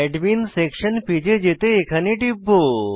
admin section page এ যেতে এখানে টিপব